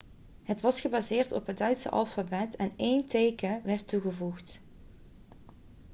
het was gebaseerd op het duitse alfabet en één teken 'õ/õ' werd toegevoegd